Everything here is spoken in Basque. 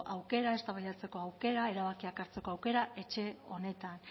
aukera eztabaidatzeko aukera erabakiak hartzeko aukera etxe honetan